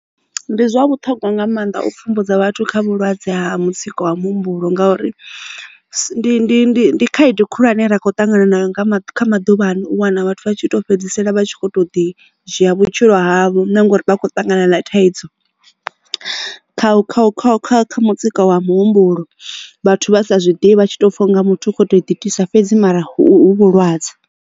Ndi zwa vhuṱhongwa nga mannḓa u pfhumbudza vhathu kha vhulwadze ha mutsiko wa muhumbulo ngauri ndi ndi ndi khaedu khulwane ra kho ṱangana na yo kha maḓuvhano u wana vhathu vha tshi to fhedzisela vha tshi kho to ḓi dzhia vhutshilo havho na ngori vha khou ṱangana na thaidzo kha kha mutsiko wa muhumbulo vhathu vha sa zwiḓivha tshi tou pfha u nga muthu u khou to itisa fhedzi mara hu vhulwadze.